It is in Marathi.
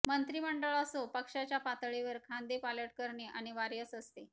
मंत्रिमंडळ असो पक्षाच्या पातळीवर खांदेपालट करणे अनिवार्यच असते